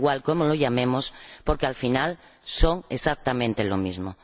Da igual cómo los llamemos, porque, al final, son exactamente lo mismo.